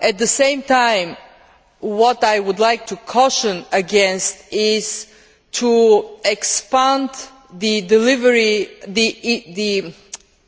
At the same time, what I would like to caution against is expanding the